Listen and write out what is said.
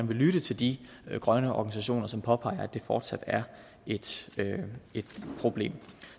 lytte til de grønne organisationer som påpeger at det fortsat er et problem